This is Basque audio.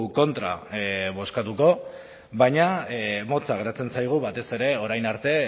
kontra bozkatuko baina motza geratzen zaigu batez ere orain arte